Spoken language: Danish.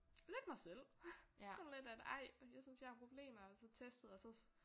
Lidt mig selv. Sådan lidt at ej jeg synes jeg har problemer og så testet og så